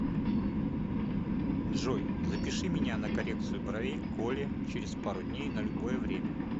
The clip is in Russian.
джой запиши меня на коррекцию бровей к оле через пару дней на любое время